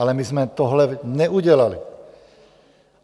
Ale my jsme tohle neudělali.